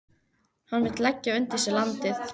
Hann vill leggja undir sig landið.